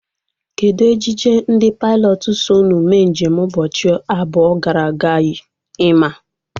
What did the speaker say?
Kedụ ejije ndị pailọtụ so ụnu mee njem ụbọchị abụọ gara aga yi? Ị maa?